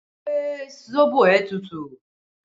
Ṣé sóbò ẹ tútù?